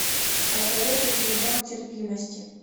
посоветуй мне дом терпимости